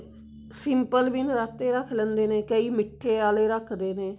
simple ਵੀ ਨਰਾਤੇ ਰੱਖ ਲੈਂਦੇ ਨੇ ਕਈ ਮਿੱਠੇ ਆਲੇ ਰੱਖਦੇ ਨੇ